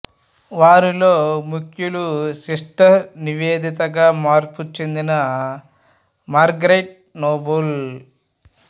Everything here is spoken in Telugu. వారిలో ముఖ్యులు సిస్టర్ నివేదిత గా మార్పు చెందిన మార్గరెట్ నోబుల్